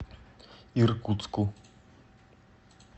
иркутску